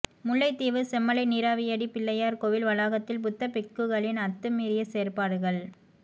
முல்லைத்தீவு செம்மலை நீராவியடி பிள்ளையார் கோவில் வளாகத்தில் புத்த பிக்குகளின் அத்து மீறிய செயற்பாடுகள்